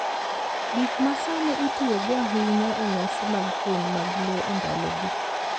Gik ma sani itiyogo ahinya e nyasi mag keny mag Luo e ndalogi.